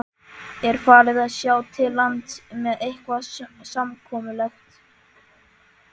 Er farið að sjá til lands með eitthvað samkomulag?